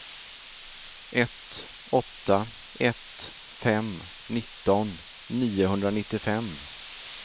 ett åtta ett fem nitton niohundranittiofem